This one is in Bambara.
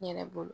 N yɛrɛ bolo